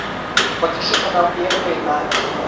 покажи канал первый на ти ви